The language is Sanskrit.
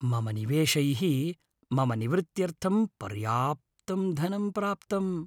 मम निवेशैः मम निवृत्त्यर्थं पर्याप्तं धनं प्राप्तम्।